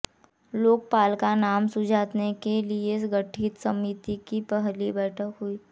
लोकपाल का नाम सुझाने के लिए गठित समिति की पहली बैठक हुई